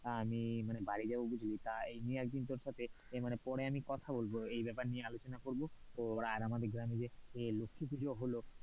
আমি মানে বাড়ি যাবো বুঝলি এ নিয়ে তোর সাথে আমি পরে মানে কথা বলব এই ব্যাপার নিয়ে আলোচনা করব তোর আর আমাদের গ্রামে যে লক্ষীপূজা হল,